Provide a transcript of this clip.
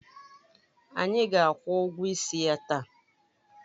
Anyị ga-akwụ ụgwọ ịsị ya taa